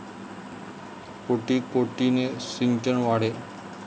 कोटी कोटीने 'सिंचन' वाढे!